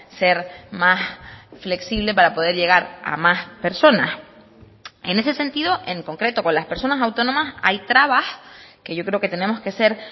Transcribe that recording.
ser más flexible para poder llegar a más personas en ese sentido en concreto con las personas autónomas hay trabas que yo creo que tenemos que ser